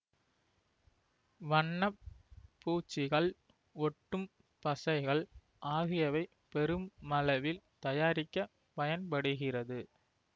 வண்ண பூச்சிகள் ஒட்டும் பசைகள் ஆகியவை பெருமளவில் தயாரிக்க பயன்படுகிறது